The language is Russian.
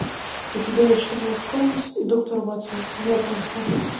у тебя есть шерлок холмс и доктор ватсон знакомство